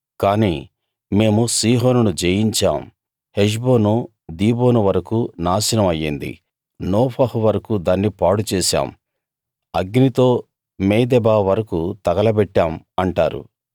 కాని మేము సీహోనును జయించాం హెష్బోను దీబోను వరకూ నాశనం అయ్యింది నోఫహు వరకూ దాన్ని పాడు చేశాం అగ్నితో మేదెబా వరకూ తగల బెట్టాం అంటారు